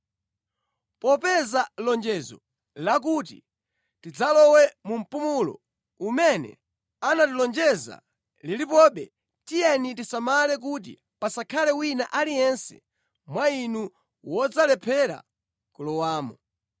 Popeza lonjezo lakuti tidzalowe mu mpumulo umene anatilonjeza lilipobe, tiyeni tisamale kuti pasakhale wina aliyense mwa inu wodzalephera kulowamo.